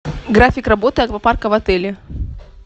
график работы аквапарка в отеле